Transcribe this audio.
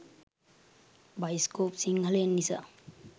bioscope සිංහලෙන් නිසා